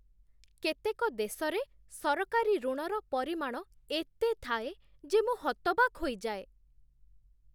କେତେକ ଦେଶରେ ସରକାରୀ ଋଣର ପରିମାଣ ଏତେ ଥାଏ ଯେ ମୁଁ ହତବାକ୍ ହୋଇଯାଏ।